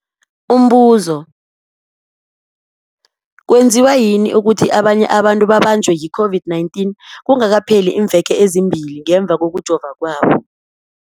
Umbuzo, kwenziwa yini ukuthi abanye abantu babanjwe yi-COVID-19 kungakapheli iimveke ezimbili ngemva kokujova kwabo?